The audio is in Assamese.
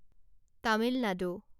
তামিল নাডু